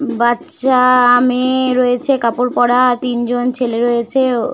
বাচ্চা আ - আ মেয়ে রয়েছে কাপড় পড়া তিনজন ছেলে রয়েছে ।